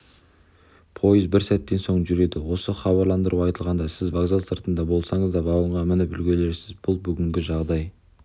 пойыз бірер сәттен соң жүреді осы хабарландыру айтылғанда сіз вокзал сыртында болсаңыз да вагонға мініп үлгересіз бұл бүгінгі жағдай